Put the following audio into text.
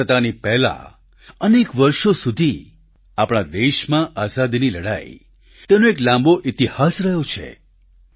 સ્વતંત્રતાની પહેલાં અનેક વર્ષો સુધી આપણા દેશમાં આઝાદીની લડાઈ તેનો એક લાંબો ઈતિહાસ રહ્યો છે